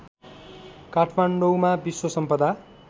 काठमाडौँमा विश्व सम्पदा